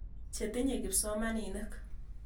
Che tinye kipsomaninik.